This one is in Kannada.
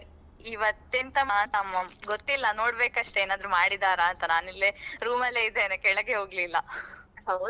ಇವತ್ತೆಂತ ಮಾಡ್ತಾ ಗೊತಿಲ್ಲಾ ನೋಡ್ಬೇಕಷ್ಟೆ ಏನಾದ್ರು ಮಾಡಿದರಂತಾ ನಾನಿಲ್ಲೀ room ಅಲ್ಲೇ ಇದೇನೇ ಕೆಳಗೆ ಹೋಗ್ಲಿಲ್ಲಾ .